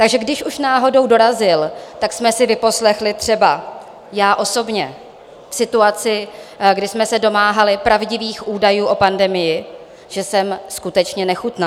Takže když už náhodou dorazil, tak jsme si vyposlechli třeba - já osobně, v situaci, kdy jsme se domáhali pravdivých údajů o pandemii - že jsem skutečně nechutná.